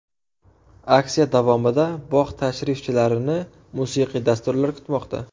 Aksiya davomida bog‘ tashrifchilarini musiqiy dasturlar kutmoqda.